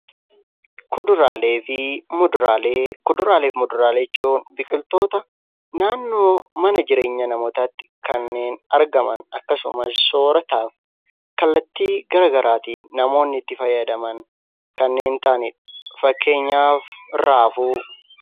Kuduraalee fi muduraalee jechuun biqiltoota naannoo mana jireenya namootaatti kanneen argaman akkasumas soorataaf kallattii garaagaraatiin namoonni itti fayyadaman kanneen ta'anidha. Fakkeenyaaf raafuu.